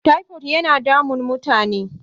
tipod yana damun mutane